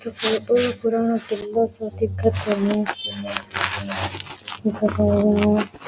ओ तो कोई बौलो पुरानाे किलो सो दिखे --